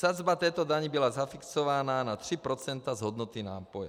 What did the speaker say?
Sazba této daně byla zafixována na 3 % z hodnoty nápoje.